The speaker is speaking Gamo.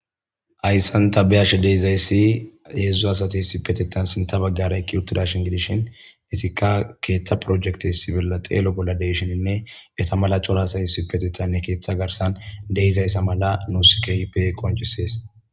Hayssan tha be7ashe de7izayssi heezzu asathi issippetheththan sinrhrha baggaara eqqi7uththidaashen gidishen keeththa projectessi xeelo bolla de7isheninne etha mala cora asay issippetheththan keeththaa garssan de7izayssa mala nuus keehippe qonccissees.